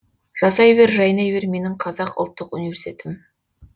жасай бер жайнай бер менің қазақ ұлттық университетім